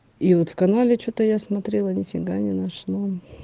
и вот канале что-то я смотрела нифига не нашла